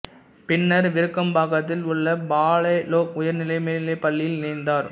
பின்னர் விருகம்பாக்கத்தில் உள்ள பாலலோக் உயர்நிலை மேல்நிலைப் பள்ளியில் இணைந்தார்